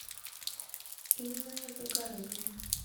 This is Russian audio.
инна загородняя